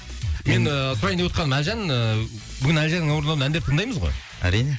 мен ііі сұрайын девотқаным әлжан ііі бүгін әлжанның орындауында әндер тыңдаймыз ғой әрине